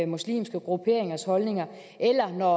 muslimske grupperingers holdninger eller når